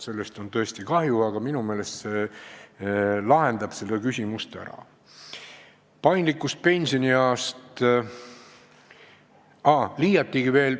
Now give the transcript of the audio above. Sellest on tõesti kahju, aga nüüd see skeem minu meelest lahendab selle küsimuse ära.